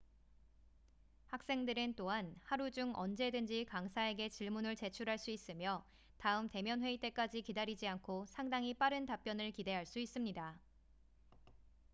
학생들은 또한 하루 중 언제든지 강사에게 질문을 제출할 수 있으며 다음 대면 회의 때까지 기다리지 않고 상당히 빠른 답변을 기대할 수 있습니다